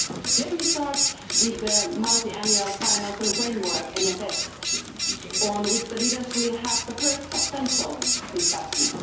Let me start with the Multiannual Financial Framework on which the leaders will have the first substantial discussion.